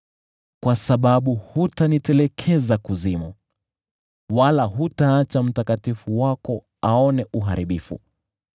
kwa maana hutaniacha kaburini, wala hutamwacha Mtakatifu Wako kuona uharibifu.